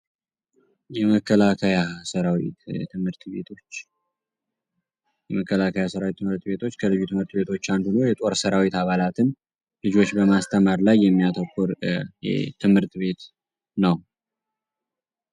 የመከላካያ ሰራዊት ትምህርት ቤቶች ከልዩ ትምህርት ቤቶች አንዱ ሁኖ የጦር ስራዊት አባላትን ልጆች በማስተማር ላይ የሚያተኩር ትምህርት ቤት ነው።